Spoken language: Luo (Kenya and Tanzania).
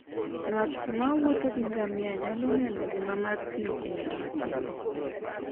Ng'at mowuotho gi ngamia nyalo neno ngima mar thim e yo makende.